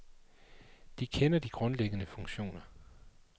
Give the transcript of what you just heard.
De kender de grundlæggende funktioner.